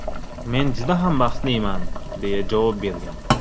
Men juda ham baxtliman”, deya javob bergan.